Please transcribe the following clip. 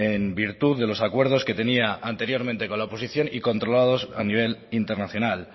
en virtud de los acuerdos que tenía anteriormente con la oposición y controlados a nivel internacional